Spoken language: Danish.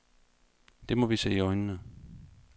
Det må vi se i øjnene.